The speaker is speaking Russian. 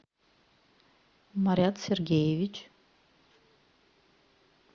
марат сергеевич